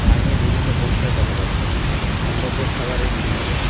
সামনে বিভিন্ন পোস্টার দেখা যাচ্ছে সম্ভাব্য খাবারের মেনু হবে।